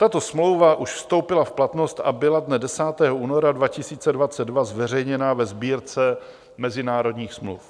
Tato smlouva už vstoupila v platnost a byla dne 10. února 2022 zveřejněna ve Sbírce mezinárodních smluv.